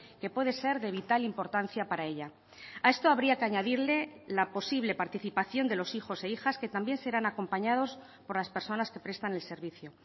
que puede ser de vital importancia para ella a esto habría que añadirle la posible participación de los hijos e hijas que también serán acompañados por las personas que prestan el servicio